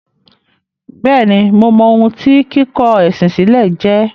Bẹ́ẹ̀ni, mo mọ ohun tí “ kíkọ ẹ̀sìn sílẹ̀” jẹ́.